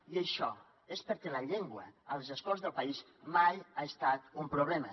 i això és perquè la llengua a les escoles del país mai ha estat un problema